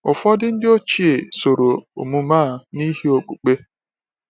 Ụfọdụ ndị oge ochie soro omume a n’ihi okpukpe.